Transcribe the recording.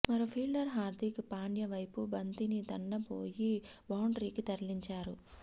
మరో ఫీల్డర్ హార్దిక్ పాండ్య వైపు బంతిని తన్నబోయి బౌండరీకి తరలించాడు